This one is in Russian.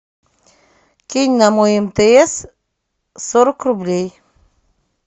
кинь на мой мтс сорок рублей